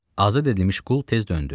Azad edilmiş qul tez döndü.